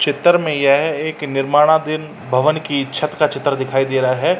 चित्र में यह एक निर्मानादीन भवन की छत का चित्र दिखाई दे रहा है।